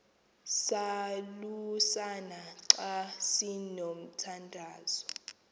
salusana xa sinomthandazo